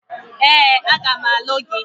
Ee, a ga m alụ gị.